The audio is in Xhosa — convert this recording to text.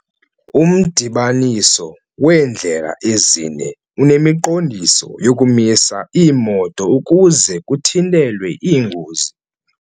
Umdibaniso weendlela ezine unemiqondiso yokumisa iimoto ukuze kuthintelwe iingozi.